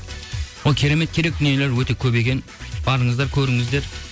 ол керемет керекті дүниелер өте көп екен барыңыздар көріңіздер